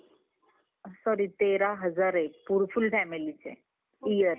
sorry तेरा हजार आ हे full family चे yearly